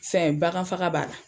Fɛn bakan faga b'a la.